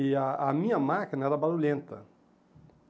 E a a minha máquina era barulhenta.